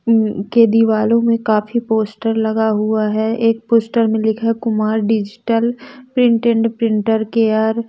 अ के दीवालों में काफी पोस्टर लगा हुआ है एक पोस्टर में लिखा है Kumar digital print and printer के आर।